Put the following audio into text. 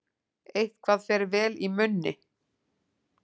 Eitthvað fer vel í munni